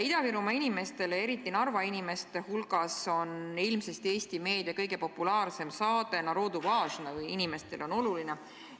Ida-Virumaa inimeste, eriti Narva inimeste hulgas on Eesti meedia kõige populaarsem saade ilmselt "Narodu važno" .